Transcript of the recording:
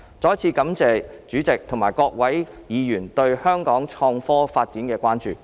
再一次感謝代理主席及各位議員對香港創科發展的關注。